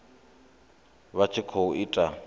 vha tshi khou i ita